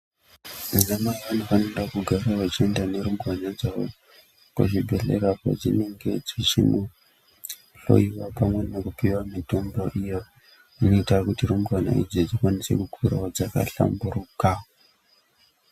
Vanamai vanofanira kugara vachienda nearumbwana dzavo, vachienda kuzvibhedhlera ,kwedzinenge dzichihloiwa, pamwe nekupiwa mitombo iyo, inoita kuti rumbwana idzi dzikwanise kukurawo dzakahlamburuka.